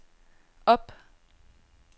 op